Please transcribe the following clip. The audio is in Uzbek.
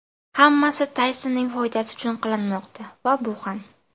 Hammasi Taysonning foydasi uchun qilinmoqda va bu ham.